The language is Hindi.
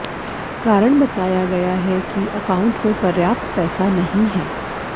कारण बताया गया है कि एकाउंट में पर्याप्त पैसा नहीं है